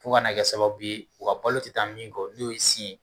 fo ka na kɛ sababu ye u ka balo tɛ taa min kɔ n'o sin ye